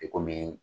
I komi